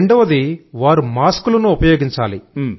రెండోది మాస్క్ ఉపయోగించాలి